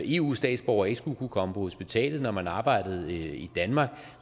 eu statsborger ikke skulle kunne komme på hospitalet når man arbejdede i danmark